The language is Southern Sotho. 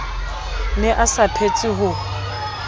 ne a sa phetse ho